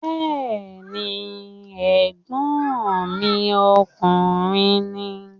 Bẹ́ẹ̀ni, ẹ̀gbọ́n mi ọkùnrin ni